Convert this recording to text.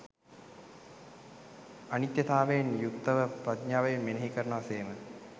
අනිත්‍යතාවයෙන් යුක්තව ප්‍රඥාවෙන් මෙනෙහි කරනවා සේම